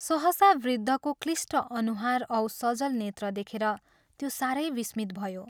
सहसा वृद्धको क्लिष्ट अनुहार औ सजल नेत्र देखेर त्यो सारै विस्मित भयो।